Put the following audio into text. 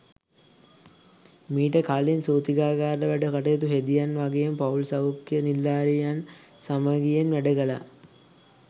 මීට කලින් සූතිකාගාර වැඩ කටයුතු හෙදියන් වගේම පවුල් සෞඛ්‍ය නිලධාරිනියන් සමගියෙන් වැඩ කළා.